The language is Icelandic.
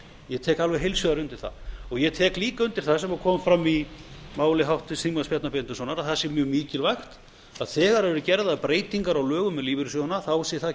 ég tek alveg heils hugar undir það ég tek líka undir það sem kom fram í máli háttvirts þingmanns bjarna benediktssonar að það sé mjög mikilvægt að þegar verði gerðar breytingar á lögum um lífeyrissjóðina þá sé það